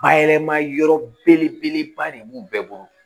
Bayɛlɛma yɔrɔ belebeleba de b'u bɛɛ bolo